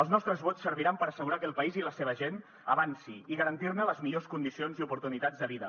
els nostres vots serviran per assegurar que el país i la seva gent avancin i garantir ne les millors condicions i oportunitats de vida